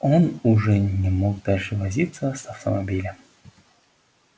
он уже не мог дальше возиться с автомобилем